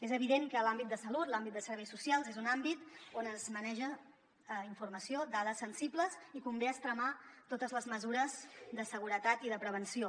és evident que l’àmbit de salut l’àmbit de serveis socials és un àmbit on es maneja informació dades sensibles i convé extremar totes les mesures de seguretat i de prevenció